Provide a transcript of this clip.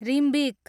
Rimbik